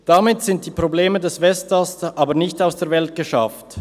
Damit sind die Probleme des Westasts jedoch nicht aus der Welt geschafft.